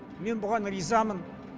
мен бұған ризамын